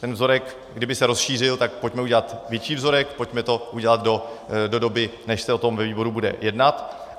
Ten vzorek, kdyby se rozšířil, tak pojďme udělat větší vzorek, pojďme to udělat do doby, než se o tom ve výboru bude jednat.